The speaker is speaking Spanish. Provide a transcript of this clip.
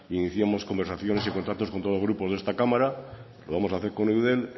iniciamos conversaciones y contactos con todos los grupos de esta cámara lo vamos a hacer con eudel